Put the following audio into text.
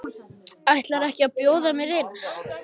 Ætlarðu ekki að bjóða mér inn?